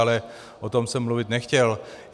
Ale o tom jsem mluvit nechtěl.